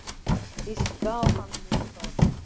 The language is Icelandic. Víst gaf hann mér það